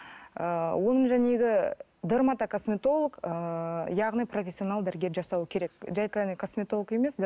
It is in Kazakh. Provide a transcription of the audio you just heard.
ыыы оны дермата косметолог ыыы яғни профессионал дәрігер жасауы керек жай ғана косметолог емес